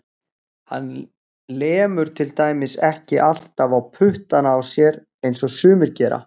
Hann lemur til dæmis ekki alltaf á puttana á sér eins og sumir gera.